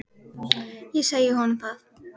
Ég segi honum það.